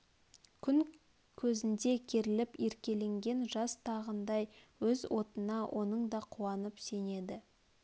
күн көзнде керіліп еркеленген жас тағыдай өз отына оның да қуанып сенеді